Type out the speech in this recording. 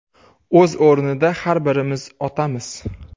O‘z o‘rnida har birimiz otamiz.